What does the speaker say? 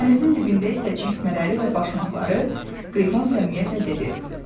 Dənizin dibində isə çəkmələri və başmaqları, Qrifon səmimiyyətlə dedi.